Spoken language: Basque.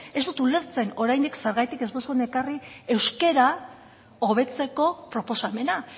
ez dut ulertzen oraindik zergatik ez duzuen ekarri euskara hobetzeko proposamena